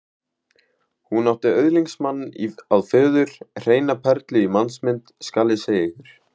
Hún átti öðlingsmann að föður, hreina perlu í mannsmynd, skal ég segja ykkur.